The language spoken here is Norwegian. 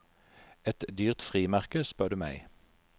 Et dyrt frimerke, spør du meg.